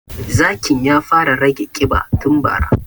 Zakin ya fara rage ƙiba tun bara